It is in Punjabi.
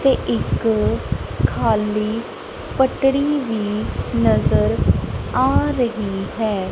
ਤੇ ਇੱਕ ਖਾਲੀ ਪਟੜੀ ਵੀ ਨਜ਼ਰ ਆ ਰਹੀ ਹੈ।